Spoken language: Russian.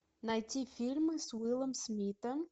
найти фильмы с уиллом смитом